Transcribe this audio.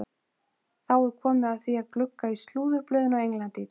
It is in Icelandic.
Þá er komið að því að glugga í slúðurblöðin á Englandi í dag.